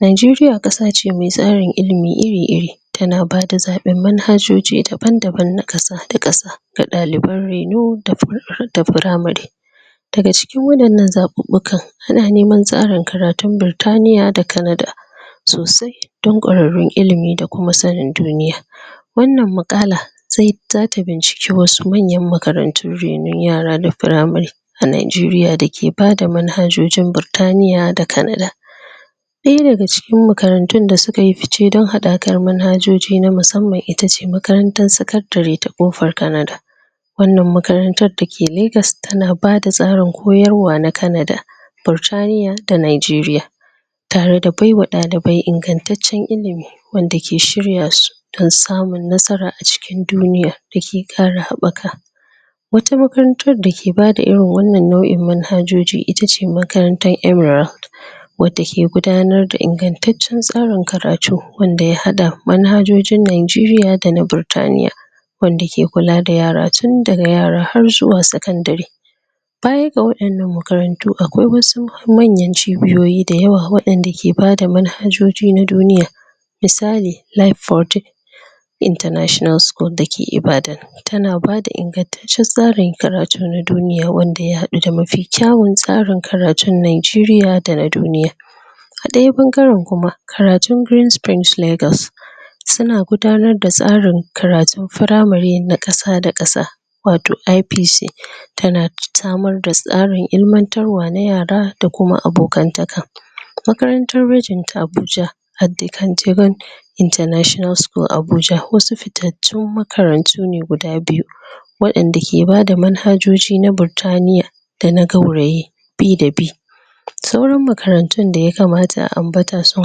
Nigeria ƙasa ce mai tsarin ilimi iri-iri ta na bada zaɓi manhajoji daban-daban na ƙasa da ƙasa, ga ɗaliban reno da pra..primary, daga cikin waɗannan zaɓuɓɓukan ana neman tsarin karatun Birtaniya da Canada sosai don ƙwararrun ilimi da kuma sanin duniya, wannan maƙala zai...za ta binciki wasu manyan makarantun renon yara da primary a Nigeria da ke manhajojin Birtaniya da Canada, ɗaya daga cikin makarantun da suka yi fice don haɗakar mahajoji na musamman ita ce makarantar secondary ta ƙofar Canada, wannan makarantar da ke Lagos ta na bada tsarin koyarwa na Canada, Birtaniya da Nigeria, tare da baiwa ɗalibai ingantaccen ilimi wanda ke shirya su don samun nasara a cikin duniya da ke ƙara haɓaka, wata makarantar da ke bada irin wannan nau'in manhajoji ita ce makarantar MRA, wadda ke gudanarda ingataccen tsarin karatu wanda ya haɗa manhajojin Nigeria da na Birtaniya, wanda ke kula da yara tun daga yara har zuwa secondary, baya ga waɗannan makarantu akwai wasu manyan cibiyoyi da yawa waɗanda ke bada manhajoji na duniya, misali: Life for day international school da ke Ibadan, tana bada ingataccen tsarin karatu na duniya wanda ya haɗu da mafi kyawun tsarin karatun Nigeria da na duniya, a ɗayan ɓangaren kuma karatun green springs Lagos su na gudanar da tsarin karatun primary na ƙasa da ƙasa wato IPC, tana samar da tsarin ilmantarwa na yara da kuma abokantaka, makarantar region ta Abuja international school Abuja wasu fitattun makarantu ne guda biyu waɗanda ke bada manhajoji na birtaniya da na gauraye bi daa bi, sauran makarantun da yakamata a ambata sun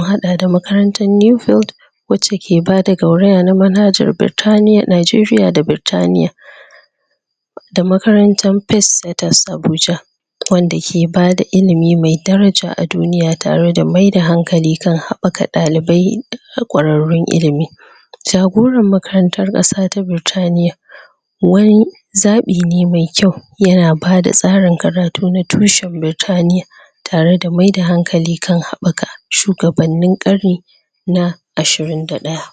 haɗa da makarantar Newford wacce ke bada gauraya na manhajar Birtaniya...Nigeria da Birtaniya, da makarantar Pace Setters Abuja wanda ke bada ilimi mai daraja a duniya tare da maida hankali kan haɓaka ɗalibai da ƙwararrun ilimi, jagoran makarantar ƙasa ta Birtaniya wani zaɓi ne mai kayu ya na bada tsarin karatu na tushen Birtaniya tare da maida hankali kan haɓaka shugabanninin ƙarni na ashirin da ɗaya.